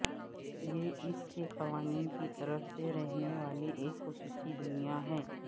یہ اس کے قوانین کی طرف سے رہنے والے ایک خصوصی دنیا ہے